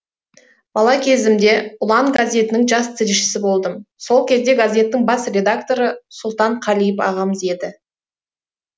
бала кезімде ұлан газетінің жас тілшісі болдым сол кезде газеттің бас редакторы сұлтан қалиев ағамыз еді